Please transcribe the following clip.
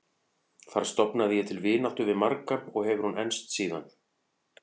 Þar stofnaði ég til vináttu við marga og hefur hún enst síðan.